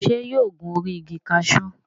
Ṣé yóò gun orí igi kaṣú?